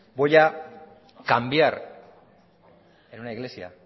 voy a cambiar en una iglesia